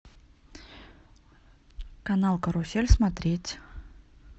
канал карусель смотреть